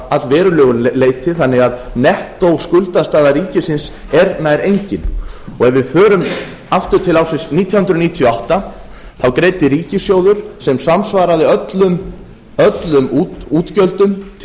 að allverulegu leyti þannig að nettóskuldastaða ríkisins er nær engin ef við förum aftur til ársins nítján hundruð níutíu og átta þá greiddi ríkissjóður sem samsvaraði öllum útgjöldum til